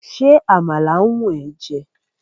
ṣe àmàlà wù e jé?